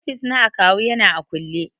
Ofis na akawu yana a kulle.